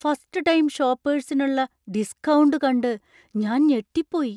First time ഷോപ്പേർസിനുള്ള discount കണ്ട് ഞാൻ ഞെട്ടിപ്പോയി.